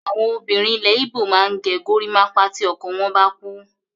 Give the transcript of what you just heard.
Àwọn obìnrin ilẹ̀ Igbo máa ń ge gorímápá tí ọkọ wọ́n bá kú.